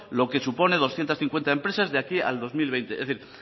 lo que supone doscientos cincuenta empresas de aquí al dos mil veinte es